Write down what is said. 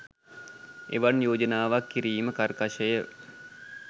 එවන් යෝජනාවක් කිරීම කර්කශ ය.